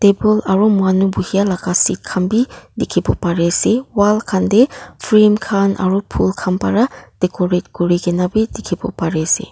table aro manu buhui laga seat khan bhi dekhebo pare ase wall khan dae frame khan aro phool khan para decorate kurina bhi dekhevo pare ase.